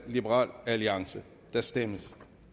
der stemmes